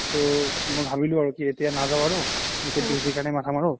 তো মই ভাবিলো আৰু এতিয়া নাজাও আৰু এতিয়া PhD কাৰনে মাথা মাৰু